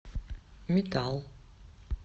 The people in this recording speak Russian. метал